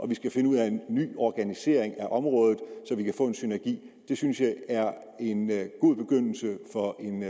vi skal finde ud af en ny organisering af området så vi kan få en synergi synes jeg er en god begyndelse for en